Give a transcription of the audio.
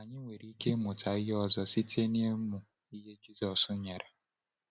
Anyị nwere ike ịmụta ihe ọzọ site n’ụmụ ihe Jisọs nyere.